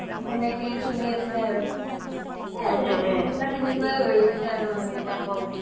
তেনেকে চলি আছে আৰু সেনেকুৱাই হয় গৈছে আৰু মানুহ বিলাকৰ